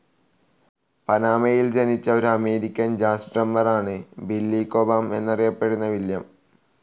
പനാമയിൽ ജനിച്ച ഒരു American jazz drummer ആണ് ബില്ലി കോബാം എന്നറിയപ്പെടുന്ന വില്യം.